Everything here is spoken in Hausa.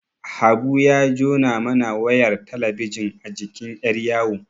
Habu ya jona mana wayar talabijin a jikin yar'yawo.